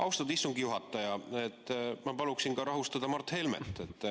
Austatud istungi juhataja, ma paluksin rahustada ka Mart Helmet.